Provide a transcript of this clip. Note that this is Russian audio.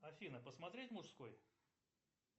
афина посмотреть мужской